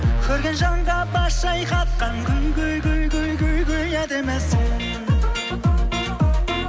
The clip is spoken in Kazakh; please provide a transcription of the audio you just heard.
көрген жанға бас шайқатқан әдемісің